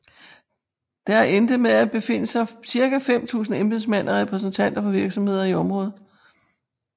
Der endte med at befinde sig ca 5000 embedsmænd og repræsentanter for virksomheder i området